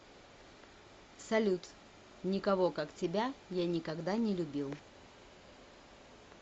салют никого как тебя я никогда не любил